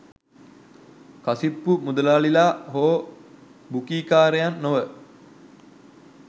කසිප්පු මුදලාලිලා හෝ බුකීකාරයන් නොව